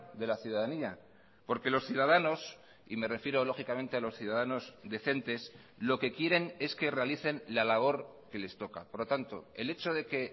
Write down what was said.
de la ciudadanía porque los ciudadanos y me refiero lógicamente a los ciudadanos decentes lo que quieren es que realicen la labor que les toca por lo tanto el hecho de que